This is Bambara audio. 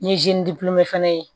Ni ye fɛnɛ ye